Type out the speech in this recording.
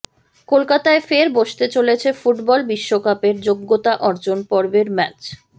কলকাতায় ফের বসতে চলেছে ফুটবল বিশ্বকাপের যোগ্যতা অর্জন পর্বের ম্যাচ